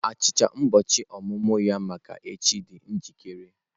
Achịcha ụbọchị ọmụmụ ya maka echi dị njikere.